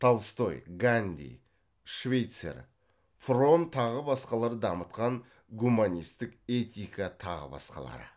толстой ганди швейцер фромм тағы басқалары дамытқан гуманистік этика тағы басқалары